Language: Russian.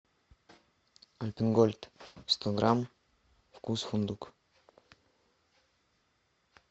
альпен гольд сто грамм вкус фундук